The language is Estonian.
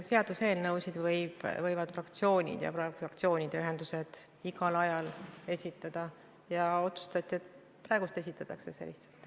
Seaduseelnõusid võivad fraktsioonid ja ka fraktsioonide ühendused igal ajal esitada ja otsustati, et praegu see lihtsalt esitatakse.